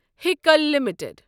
ہیٖکل limited